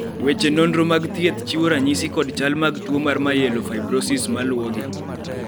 weche nonro mag thieth chiwo ranyisi kod chal mag tuo mar Myelofibrosis maluwogi